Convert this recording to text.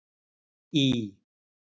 Í